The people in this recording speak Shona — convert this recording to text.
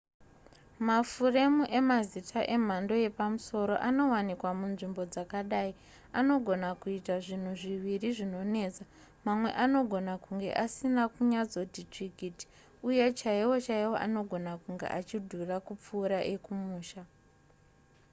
mafuremu emazita emhando yepamusoro anowanikwa munzvimbo dzakadai anogona kuita zvinhu zviviri zvinonetsa mamwe anogona kunge asina kunyatsoti tsvikiti uye chaiwo chaiwo anogona kunge achidhura kupfuura ekumusha